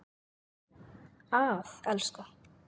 Að elska.